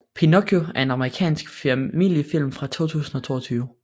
Pinocchio er en amerikansk familiefilm fra 2022